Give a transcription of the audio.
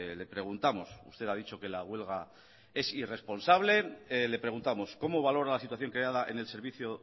le preguntamos usted ha dicho que la huelga es irresponsabl e le preguntamos como valora la situación creada en el servicio